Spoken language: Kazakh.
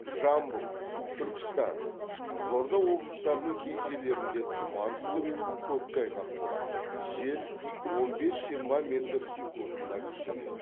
жамбыл түркістан қызылорда облыстарының кей жерлерінде тұман түсіп коктайғақ болады жел он бес жиырма метр секундына күшейеді